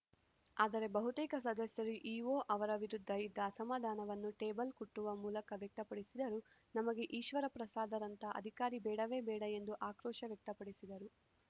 ಆದರೆ ಬಹುತೇಕ ಸದಸ್ಯರು ಇಒ ಅವರ ವಿರುದ್ಧ ಇದ್ದ ಅಸಮಾಧಾನವನ್ನು ಟೇಬಲ್‌ ಕುಟ್ಟುವ ಮೂಲಕ ವ್ಯಕ್ತಪಡಿಸಿದರು ನಮಗೆ ಈಶ್ವರಪ್ರಸಾದರಂಥ ಅಧಿಕಾರಿ ಬೇಡವೇ ಬೇಡ ಎಂದು ಆಕ್ರೋಶ ವ್ಯಕ್ತಪಡಿಸಿದರು